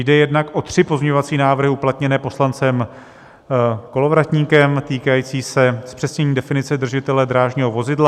Jde jednak o tři pozměňovací návrhy uplatněné poslancem Kolovratníkem, týkající se zpřesnění definice držitele drážního vozidla.